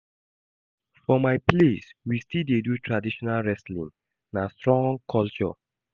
For my place, we still dey do traditional wrestling, na strong culture.